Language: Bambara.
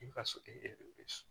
I ka